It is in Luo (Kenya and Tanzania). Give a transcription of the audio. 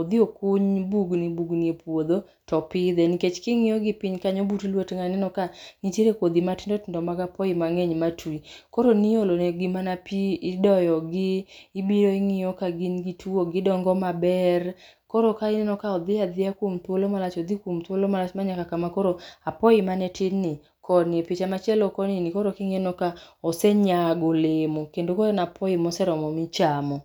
odhi okuny bugni bugni e puodho topidhe. Nikech king'iyo gi piny kanyo but lwet ng'ano ineno ka nitiere kodhi matindo tindo mag apoyi mang'eny matwi. Koro niolo negi mana pi, idoyo gi, ibiro ing'iyo ka gin gi tuwo, gidongo maber. Koro ka ineno ka odhi adhiya kuom thuolo malach, odhi kuom thuolo malach ma nyaka kama koro apoyi mane tin ni, koni, e picha machielo koni ni, koro ineno ka osenyago olemo. Kendo koro en apoyi moseromo michamo.